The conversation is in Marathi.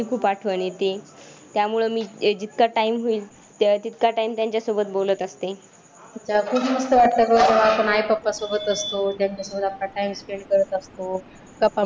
खरंच आपले आई पप्पा आपल्यावर खरंच किती प्रेम करतात ना गं.